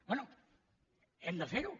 bé hem de fer ho